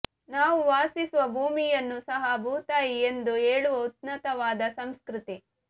ನಾವು ವಾಸಿಸುವ ಭೂಮಿಯನ್ನು ಸಹ ಭೂತಾಯಿ ಎಂದು ಹೇಳುವ ಉನ್ನತವಾದ ಸಂಸ್ಕೃತಿ